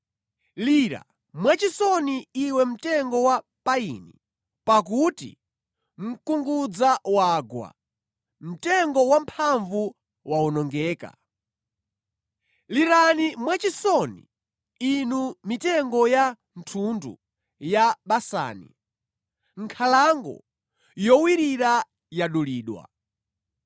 Lira mwachisoni, iwe mtengo wa payini, pakuti mkungudza wagwa; mtengo wamphamvu wawonongeka! Lirani mwachisoni, inu mitengo ya thundu ya Basani; nkhalango yowirira yadulidwa!